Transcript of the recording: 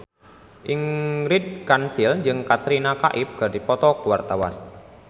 Ingrid Kansil jeung Katrina Kaif keur dipoto ku wartawan